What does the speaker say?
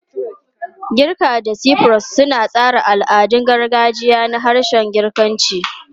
Girka da Cyprus suna tsara al'adun gargajiya na harshen Girkanci.